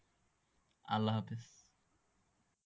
আল্লা হাফিজ